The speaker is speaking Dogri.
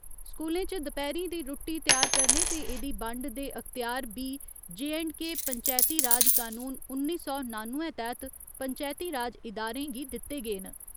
स्कूलें च दपैह्‌रीं दी रुट्टी त्यार करने ते एह्दी बंड दे अख्तेयार बी जे एंड के पंचैती राज कानून उन्नी सौ नानुए तैह्त पंचैती राज इदारें गी दित्ते गे न।